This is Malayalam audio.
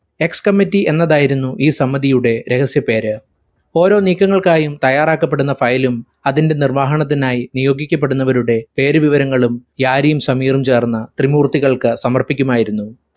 ex committee എന്നതായിരുന്നു ഈ സമിധിയുടെ രഹസ്യപേർ. ഓരോ നീക്കങ്ങൾക്കായും തയ്യാറാക്കപ്പെടുന്ന file ഉം അതിന്റെ നിർവാഹനത്തിനായ് നിയോഗിക്കപ്പെടുന്നവരുടെ പേരുവിവരങ്ങളും യാരിയും സമീറും ചേർന്ന് ത്രിമൂർത്തികൾക്ക് സമർപ്പിക്കുമായിരുന്നു.